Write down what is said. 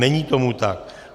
Není tomu tak.